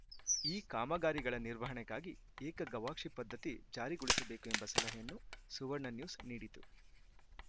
ಈ ಕಾಮಗಾರಿಗಳ ನಿರ್ವಹಣೆಗಾಗಿ ಏಕ ಗವಾಕ್ಷಿ ಪದ್ಧತಿ ಜಾರಿಗೊಳಿಸಬೇಕು ಎಂಬ ಸಲಹೆಯನ್ನು ಸುವರ್ಣ ನ್ಯೂಸ್‌ ನೀಡಿತು